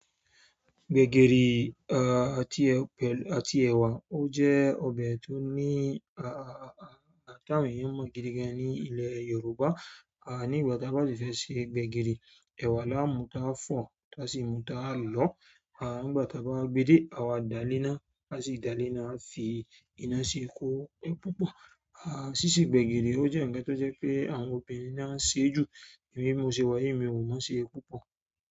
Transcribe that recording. Gbegiri à àti ẹ̀wà o jẹ́ ọbẹ̀ tó ní à ti àwọn eeyan mo gidi gan ní ilẹ̀ Yorùbá. Nígbàtí a bá si fẹ́ se gbẹ̀gìrì, ẹ̀wà la mú tá fọ̀ tá sì mú tá lọ. Nígbàtí a bá gbe dé à wa da le na á sì da le na a fi ina sì kó se púpọ̀. Síse gbẹ̀gìrì o jẹ́ ǹkan tó jẹ́ pé àwọn obìnrin náà se jù, èmi bi mọ́ ṣe wá yìí mí o mo ṣe púpọ̀.